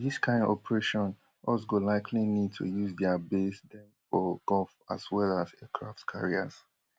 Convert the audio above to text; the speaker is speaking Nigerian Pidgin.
for dis kain operation us go likely need to use dia base dem for gulf as well as aircraft carriers